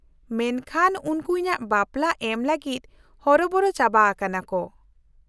-ᱢᱮᱱᱠᱷᱟᱱ ᱩᱱᱠᱩ ᱤᱧᱟᱹᱜ ᱵᱟᱯᱞᱟ ᱮᱢ ᱞᱟᱹᱜᱤᱫ ᱦᱚᱨᱚᱵᱚᱨᱚ ᱪᱟᱵᱟ ᱟᱠᱟᱱᱟᱠᱚ ᱾